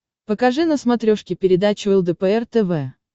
покажи на смотрешке передачу лдпр тв